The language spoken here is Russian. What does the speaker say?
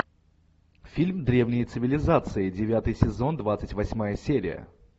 фильм древние цивилизации девятый сезон двадцать восьмая серия